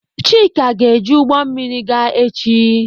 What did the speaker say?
Chika ga-eji ụgbọ mmiri gaa echi.